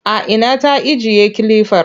A ina ta ajiye kilifar?